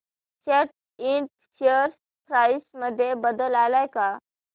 सॅट इंड share price मध्ये बदल आलाय का